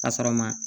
Ka sɔrɔ ma